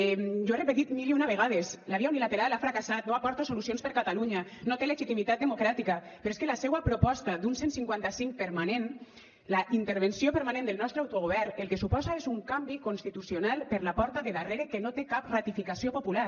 jo ho he repetit mil i una vegades la via unilateral ha fracassat no aporta solucions per a catalunya no té legitimitat democràtica però és que la seua proposta d’un cent i cinquanta cinc permanent la intervenció permanent del nostre autogovern el que suposa és un canvi constitucional per la porta de darrere que no té cap ratificació popular